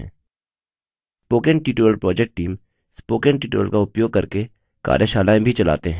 spoken tutorial project team spoken tutorial का उपयोग करके कार्यशालाएँ भी चलाते हैं